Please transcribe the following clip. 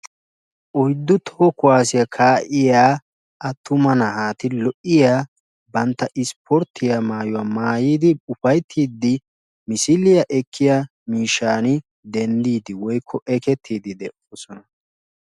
Oyddu toho kuwaassiya kaa"iya attuma naati lo"iyaa bantta ispporttiyaa maayuwa maayidi ufayittiiddi misiliya ekkiya miishshan denddiidi woykko ekettiiddi de'oosona.